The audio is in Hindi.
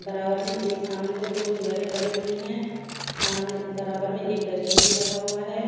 बराबर में ए सामने को दो चेयरें पड़ी हुई हैं सामने बराबर में एक डस्टबिन भी रखा हुआ हैं।